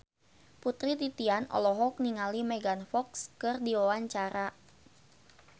Putri Titian olohok ningali Megan Fox keur diwawancara